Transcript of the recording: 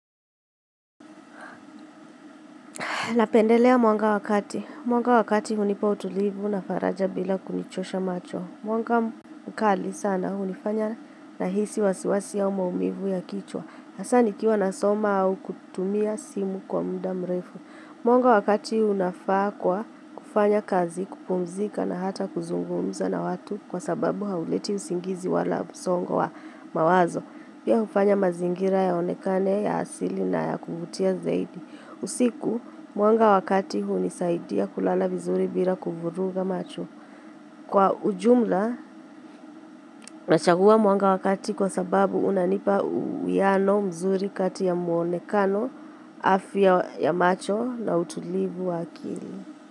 Napendelea mwanga wakati. Mwanga wakati hunipa utulivu na faraja bila kunichosha macho. Mwanga mkali sana hunifanya nahisi wasiwasi au maumivu ya kichwa. Hasa nikiwa nasoma au kutumia simu kwa muda mrefu. Mwanga wakati unafaa kwa kufanya kazi, kupumzika na hata kuzungumza na watu kwa sababu hauleti usingizi wala msongo wa mawazo. Pia hufanya mazingira yaonekane, ya asili na ya kuvutia zaidi. Usiku, mwanga wakati hunisaidia kulala vizuri bila kuvuruga macho. Kwa ujumla, nachagua mwanga wakati kwa sababu unanipa uwiano mzuri kati ya muonekano, afya ya macho na utulivu wa akili.